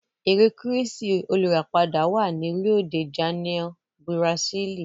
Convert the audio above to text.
Ère kírístì olùràpadà wà ní Rio de Janeiro, Bùràsílì.